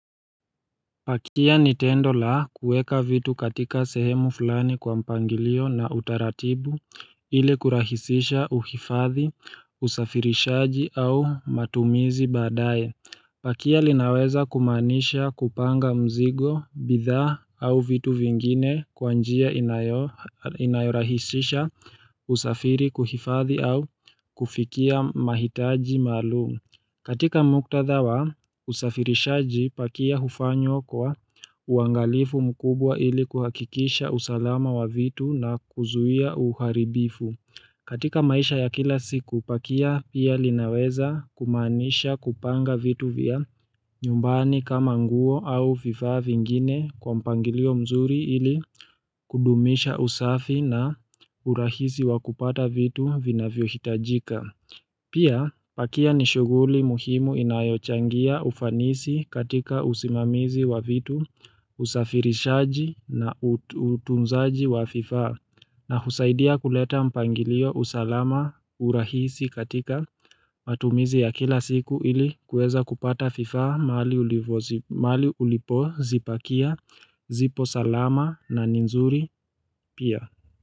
Pakia ni tendo la kueka vitu katika sehemu fulani kwa mpangilio na utaratibu ili kurahisisha uhifadhi usafirishaji au matumizi baadaye Pakia lina weza kumaanisha kupanga mzigo, bidhaa au vitu vingine kwa njia inayorahisisha usafiri kuhifadhi au kufikia mahitaji maalumu katika muktadha wa, usafirishaji pakia ufanywa kwa uangalifu mkubwa ili kuhakikisha usalama wa vitu na kuzuhia uharibifu. Katika maisha ya kila siku, pakia pia linaweza kumaanisha kupanga vitu vya nyumbani kama nguo au vifaa vingine kwa mpangilio mzuri ili kudumisha usafi na urahisi wa kupata vitu vinavyo hitajika. Pia pakia ni shuguli muhimu inayochangia ufanisi katika usimamizi wa vitu usafirishaji na utunzaji wa vifaa na husaidia kuleta mpangilio usalama urahisi katika matumizi ya kila siku ili kueza kupata fifaa maali ulipozipakia zipo salama na nzuri pia.